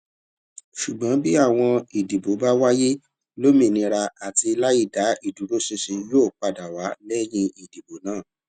ṣùgbón bí àwọn ìdìbò bá wáyé lómìnira àti láìdáa ìdúróṣinṣin yóò padà wá lẹyìn ìdìbò náà